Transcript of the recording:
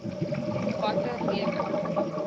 watter rede